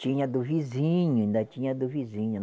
Tinha a do vizinho, ainda tinha a do vizinho.